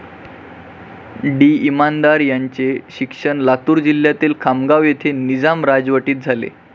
D. Inamdar यांचे शिक्षण लातूर जिल्ह्यातील खामगाव येथे निजाम राजवटीत झाले.